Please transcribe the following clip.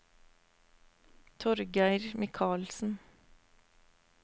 Torgeir Michaelsen